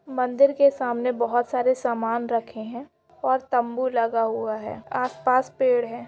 मंदिर के सामने बहुत सारे सामान रखे है और तम्बू लगा हुए है आसपास पेड़ है।